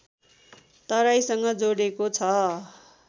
तराईसँग जोडेको छ